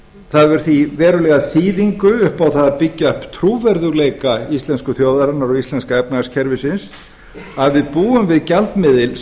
það hefur því verulega þýðingu upp á það að byggja upp trúverðugleika íslensku þjóðarinnar og íslenska efnahagskerfisins að við búum við gjaldmiðil